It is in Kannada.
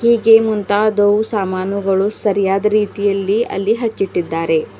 ಹೀಗೆ ಮುಂತಾದವು ಸಾಮಾನುಗಳು ಸರಿಯಾದ ರೀತಿಯಲ್ಲಿ ಅಲ್ಲಿ ಹಚ್ಚಿಟ್ಟಿದ್ದಾರೆ.